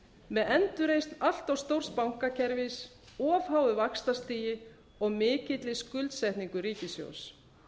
með endurreisn allt of stórs bankakerfis of háu vaxtastigi og mikilli skuldsetningu ríkissjóðs